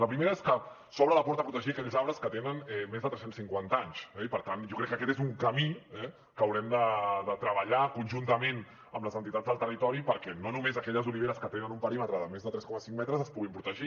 la primera és que s’obre la porta a protegir aquells arbres que tenen més de tres cents i cinquanta anys eh i per tant jo crec que aquest és un camí eh que haurem de treballar conjuntament amb les entitats del territori perquè no només aquelles oliveres que tenen un perímetre de més de tres coma cinc metres es puguin protegir